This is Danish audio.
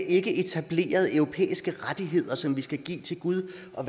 ikke etableret europæiske rettigheder som vi skal give til gud og